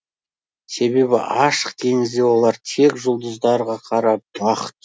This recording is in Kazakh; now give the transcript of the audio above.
себебі ашық теңізде олар тек жұлдыздарға қарап бағыт